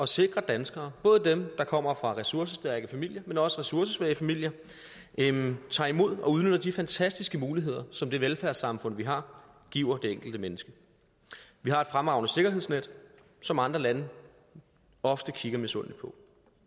sikre at danskere både dem der kommer fra ressourcestærke familier men også fra ressourcesvage familier tager imod og udnytter de fantastiske muligheder som det velfærdssamfund vi har giver det enkelte menneske vi har et fremragende sikkerhedsnet som andre lande ofte kigger misundeligt på